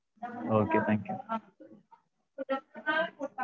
okay thank you